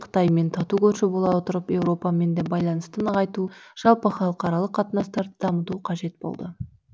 қытаймен тату көрші бола отырып еуропамен де байланысты нығайту жалпы халықаралық қатынастарды дамыту қажет болды